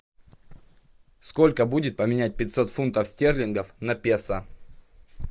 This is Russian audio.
сколько будет поменять пятьсот фунтов стерлингов на песо